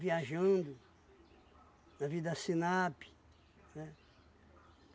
Viajando, navio da SINAPI, né?